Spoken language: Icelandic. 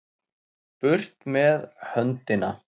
Burt með höndina!